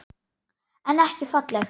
En ekki falleg.